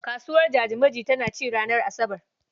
Kasuwar Jajimaji tana ci ranar Asabar.